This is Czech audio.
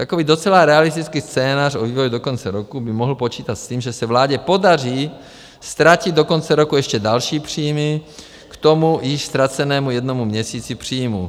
Takový docela realistický scénář o vývoji do konce roku by mohl počítat s tím, že se vládě podaří ztratit do konce roku ještě další příjmy k tomu již ztracenému jednomu měsíci příjmů.